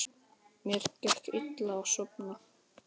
Mér gekk illa að sofna.